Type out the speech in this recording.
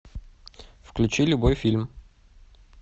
включи любой фильм